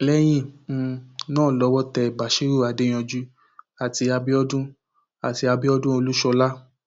lẹyìn um náà lọwọ tẹ basírú adéyanjú àti abidọdùn àti abidọdùn olúṣọlá